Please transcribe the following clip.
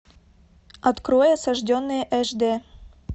открой осажденные аш д